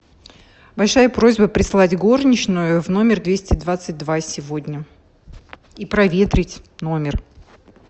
большая просьба прислать горничную в номер двести двадцать два сегодня и проветрить номер